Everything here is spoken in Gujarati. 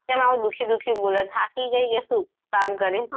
કેમ આવું દુખી દુખી બોલે થાકી ગય કે શું કામ કરીને.